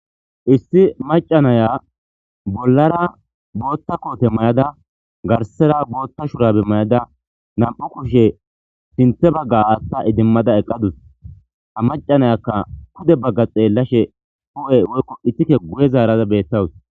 Issi macanaya bollara bootta koote mayada garsera bootta shurabe mayada nam'u kushe sinthe bagga atta idimmada eqqadus a macanayakka kude bagga xeellashe hu'e woykko ittike guye zaarada beettawus.